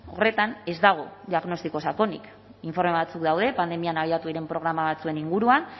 horretan ez dago diagnostiko sakonik informe batzuk daude pandemian abiatu diren programa batzuen inguruan